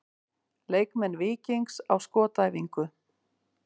Leikmenn Víkings á skotæfingu.